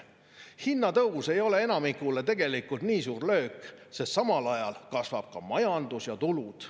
Elektri hinna tõus ei ole enamikule tegelikult nii suur löök, sest samal ajal kasvab ka majandus ja tulud.